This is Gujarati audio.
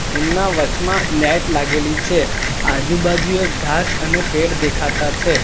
એમના વચમાં નેટ લાગેલી છે આજુબાજુએ ઘાસ અને પેડ દેખાતા છે.